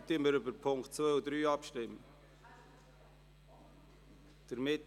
Wir stimmen jetzt über das Traktandum 64, Punkt 1 als Motion ab.